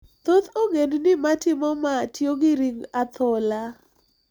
Thoth ogendni ma timo ma, tiyo gi ring athola.